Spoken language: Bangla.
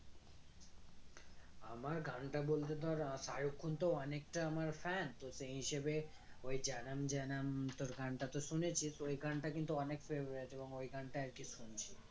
আমার গানটা বলতে তোর আহ শারুখ খান তো অনেকটা আমার fan তো সেই হিসেবে ওই জানাম জানাম তোর গানটা তো শুনেছিস ওই গানটা কিন্তু অনেক favourite এবং ওই গানটা আরকি শুনছি